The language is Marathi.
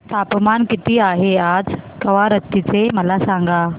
तापमान किती आहे आज कवारत्ती चे मला सांगा